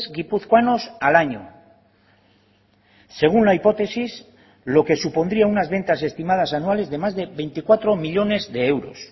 guipuzcoanos al año según la hipótesis lo que supondría unas ventas estimadas anuales de más de veinticuatro millónes de euros